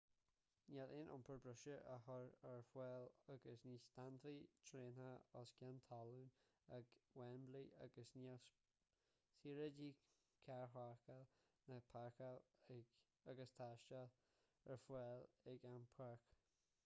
níl aon iompar breise á chur ar fáil agus ní stadfaidh traenacha os cionn talún ag wembley agus níl saoráidí carrpháirceála ná páirceála agus taistil ar fáil ag an bpáirc